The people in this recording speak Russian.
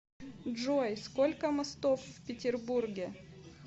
джой сколько мостов в петербурге